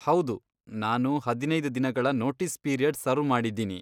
ಹೌದು, ನಾನು ಹದಿನೈದ್ ದಿನಗಳ ನೋಟೀಸ್ ಪೀರಿಯಡ್ ಸರ್ವ್ ಮಾಡಿದ್ದೀನಿ.